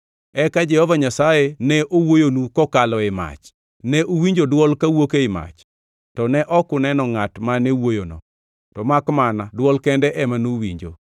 Eka Jehova Nyasaye ne owuoyonu kokalo ei mach. Ne uwinjo dwol kawuok ei mach, to ne ok uneno ngʼat mane wuoyono, to makmana dwol kende ema nuwinjo.